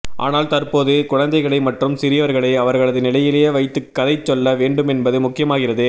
ஆனால் தற்போது குழந்தைகளை மற்றும் சிறியவர்களை அவர்களது நிலையிலே வைத்துக் கதை சொல்லவேண்டுமென்பது முக்கியமாகிறது